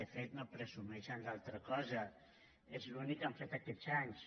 de fet no presumeixen d’altra cosa és l’únic que han fet aquests anys